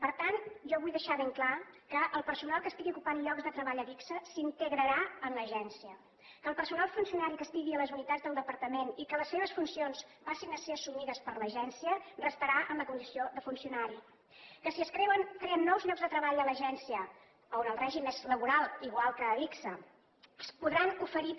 per tant jo vull deixar ben clar que el personal que estigui ocupant llocs de treball a adigsa s’integrarà en l’agència que el personal funcionari que estigui a les unitats del departament i que les seves funcions passin a ser assumides per l’agència restarà en la condició de funcionari que si es creen nous llocs de treball a l’agència on el règim és laboral igual que a adigsa es podran oferir també